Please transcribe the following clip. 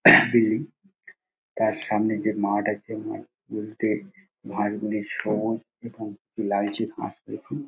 তিনি তার সামনে যে মাঠ আছে মাঠ বলতে মাঠ গুলি সব এবং লালচে ঘাস মেশিন ।